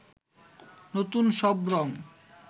নতুন সব রং